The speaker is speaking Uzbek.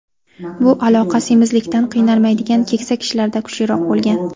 Bu aloqa semizlikdan qiynalmaydigan keksa kishilarda kuchliroq bo‘lgan.